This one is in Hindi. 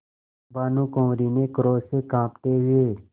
भानुकुँवरि ने क्रोध से कॉँपते हुए